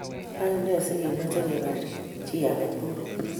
Kaine sigomeche kobar chi age tugul?